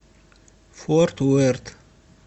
форт уэрт